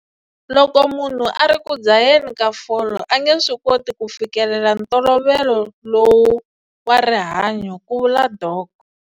Loko munhu a ri ku dzaheni ka fole, a nge swi koti ku fikelela ntolovelo lowu wa rihanyo, ku vula Dok.